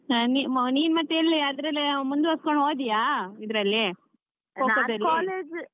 ನೀ ನೀನ್ ಮತ್ತೆ ಅದರಲ್ಲೇ ಮುಂದುವರಿಸಿಕೊಂಡು ಹೋದ್ಯಾ ಇದರಲ್ಲಿ Kho kho ದಲ್ಲಿ? .